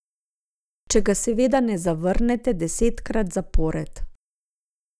Če ga seveda ne zavrnete desetkrat zapored.